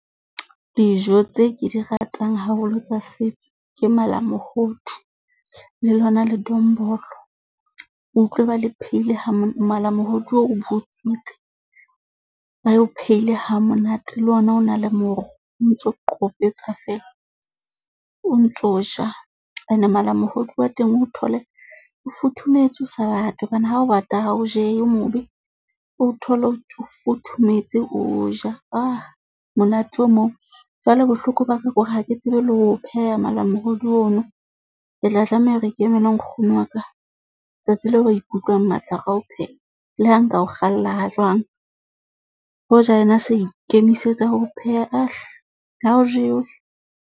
Dijo tse ke di ratang haholo tsa setso ke malamohodu le lona ledombolo. O utlwe ba le pheile ha malamohodi oo o butswitse, ba o pheile hamonate le ona o na le moro o ntso qopetsa feela, o ntso ja. Ene malamohodu wa teng o thole o futhumetse o sa bate hobane ha o bata, ha o jeye o mobe. O thole o futhumetse, O ja ha monate o moo. Jwale bohloko ba ka ke hore ha ke tsebe le ho pheha malamohodi ono, ke tla tlameha hore ke emele nkgono wa ka. Tsatsi leo re ikutlwang matla ka ho pheha le ha nka o kgalla ha jwang hoja yena sa ikemisetsa ho o pheha ah hle ha o jewe.